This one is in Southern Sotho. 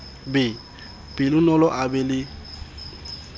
be pelonolo a be le